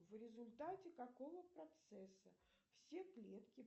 в результате какого процесса все клетки